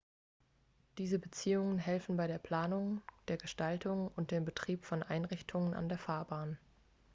diese beziehungen helfen bei der planung der gestaltung und dem betrieb von einrichtungen an der fahrbahn